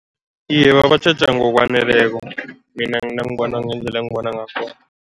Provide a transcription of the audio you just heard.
Iye, babatjheja ngokwaneleko, mina nangibona ngendlela engibona ngakhona.